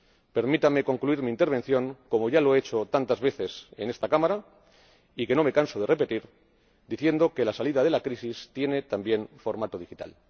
Permítanme concluir mi intervención, como ya lo he hecho tantas veces en esta Cámara, y no me canso de repetirlo, diciendo que la salida de la crisis tiene también formato digital.